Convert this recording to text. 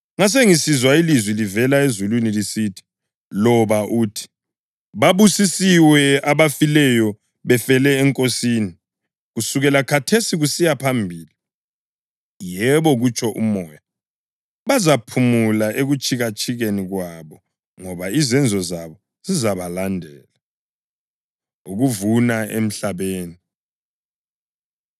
Ngasengisizwa ilizwi livela ezulwini lisithi, “Loba ukuthi: Babusisiwe abafileyo befela eNkosini kusukela khathesi kusiya phambili.” “Yebo,” kutsho uMoya, “bazaphumula ekutshikatshikeni kwabo ngoba izenzo zabo zizabalandela.” Ukuvuna Emhlabeni